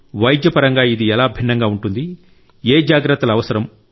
వైద్యపరంగా ఇది ఎలా భిన్నంగా ఉంటుంది ఏ జాగ్రత్తలు అవసరం